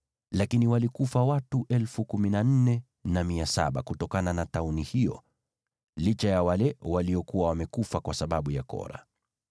Lakini walikufa watu 14,700 kutokana na tauni hiyo, licha ya wale waliokuwa wamekufa kwa sababu ya Kora.